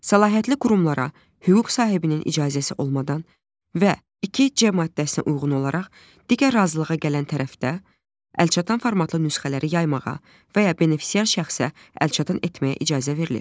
Səlahiyyətli qurumlara hüquq sahibinin icazəsi olmadan və 2C maddəsinə uyğun olaraq digər razılığa gələn tərəfdə əlçatan formatlı nüsxələri yaymağa və ya benefisiar şəxsə əlçatan etməyə icazə verilir.